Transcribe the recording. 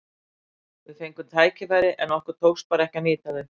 Við fengum tækifæri en okkur tókst bara ekki að nýta þau.